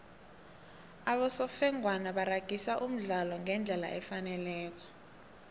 abosofengwana baragisa umdlalo ngendlela efaneleko